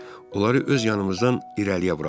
Onları öz yanımızdan irəliyə buraxdıq.